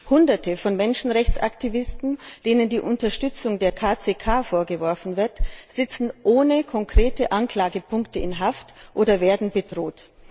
Hunderte von Menschenrechtsaktivisten, denen die Unterstützung der KCK vorgeworfen wird, sitzen ohne konkrete Anklagepunkte in Haft oder werden bedroht.